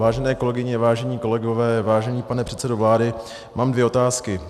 Vážené kolegyně, vážení kolegové, vážený pane předsedo vlády, mám dvě otázky.